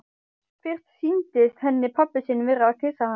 Fyrst sýndist henni pabbi sinn vera að kyssa hana.